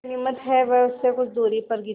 गनीमत है वे उससे कुछ दूरी पर गिरीं